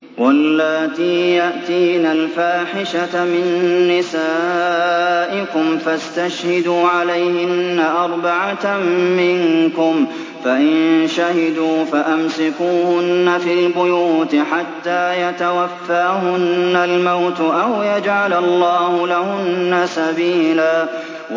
وَاللَّاتِي يَأْتِينَ الْفَاحِشَةَ مِن نِّسَائِكُمْ فَاسْتَشْهِدُوا عَلَيْهِنَّ أَرْبَعَةً مِّنكُمْ ۖ فَإِن شَهِدُوا فَأَمْسِكُوهُنَّ فِي الْبُيُوتِ حَتَّىٰ يَتَوَفَّاهُنَّ الْمَوْتُ أَوْ يَجْعَلَ اللَّهُ لَهُنَّ سَبِيلًا